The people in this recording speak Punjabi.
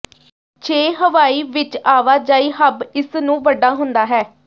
ਛੇ ਹਵਾਈ ਵਿਚ ਆਵਾਜਾਈ ਹੱਬ ਇਸ ਨੂੰ ਵੱਡਾ ਹੁੰਦਾ ਹੈ